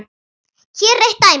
Hér er eitt dæmi.